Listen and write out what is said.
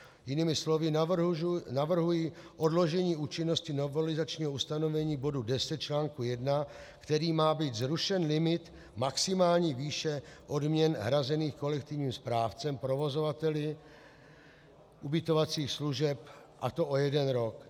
Jinými slovy, navrhuji odložení účinnosti novelizačního ustanovení bodu 10 článku I, kterým má být zrušen limit maximální výše odměn hrazených kolektivním správcům provozovateli ubytovacích služeb, a to o jeden rok.